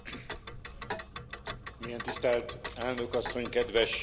Mélyen tisztelt Elnök Asszony, kedves Kollégák!